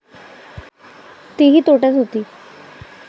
तीही तोट्यात होती.